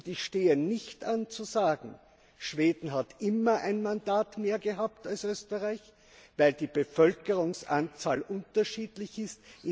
Und ich stehe nicht an zu sagen, Schweden hat immer ein Mandat mehr gehabt als Österreich, weil die Bevölkerungsanzahl unterschiedlich ist.